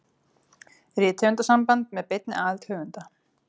Rithöfundasamband með beinni aðild höfunda.